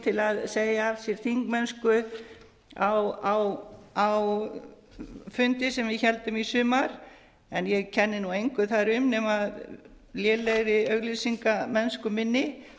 í okkar flokki til að segja af sér þingmennsku á fundi sem við héldum í sumar en ég kenni nú engu þar um nema lélegri auglýsingamennsku minni